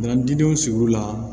Minɛn dinw sigiyɔrɔ la